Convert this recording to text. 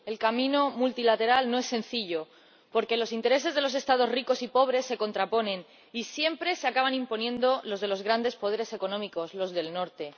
El camino multilateral no es sencillo porque los intereses de los Estados ricos y pobres se contraponen y siempre se acaban imponiendo los de los grandes poderes económicos los del Norte.